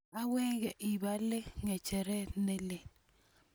awenge ibaale kicheret ne lel